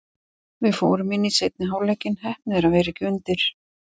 Við fórum inn í seinni hálfleikinn, heppnir að vera ekki undir.